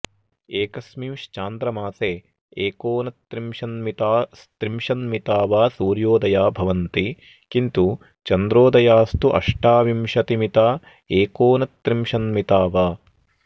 एकस्मिश्चान्द्रमासे एकोनत्रिशन्मितास्त्रिशन्मिता वा सूर्योदया भवन्ति किन्तु चन्द्रोदयास्तु अष्टाविंशतिमिता एकोनत्रिशन्मिता वा